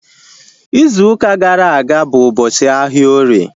Izu ụka gara aga bụ ụbọchị ahịa orie